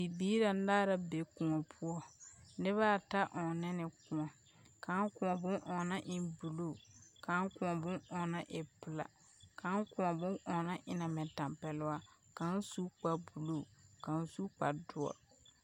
Bibiir anaara be kõɔ poɔ. Nebɛata ɔnnɛ ne kõɔ. Kão kõɔ bon oona en buluu, kão kõɔ bon oona e pela, kão koɔ bon oona ena mɛ tampɛloa. Kão su kparbuluu, kão su kpardoɔr.